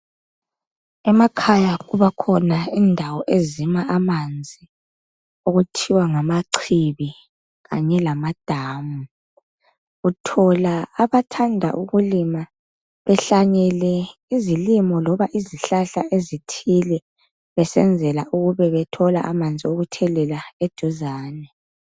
Emakhaya kubakhona indawo ezima amanzi okuthiwa ngamachibi kanye lama damu. Uthola abathanda ukulima behlanyele izilimo loba izihlahla ezithile besenzela ukube bethola amanzi okuthelela eduzane.